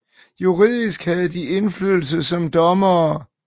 Juridisk havde de indflydelse som dommere